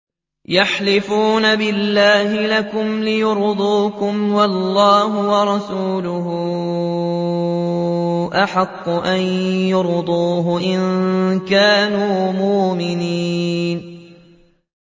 يَحْلِفُونَ بِاللَّهِ لَكُمْ لِيُرْضُوكُمْ وَاللَّهُ وَرَسُولُهُ أَحَقُّ أَن يُرْضُوهُ إِن كَانُوا مُؤْمِنِينَ